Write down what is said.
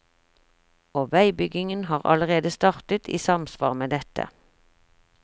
Og veibyggingen har allerede startet i samsvar med dette.